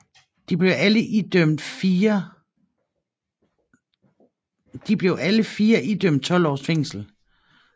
De blev alle fire idømt 12 års fængsel